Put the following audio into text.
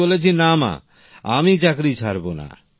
আমি বলেছি না মা আমি চাকরি ছাড়ব না